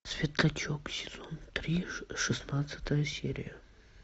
светлячок сезон три шестнадцатая серия